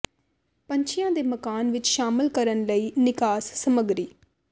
ਪੰਛੀਆਂ ਦੇ ਮਕਾਨ ਵਿੱਚ ਸ਼ਾਮਲ ਕਰਨ ਲਈ ਨਿਕਾਸ ਸਮੱਗਰੀ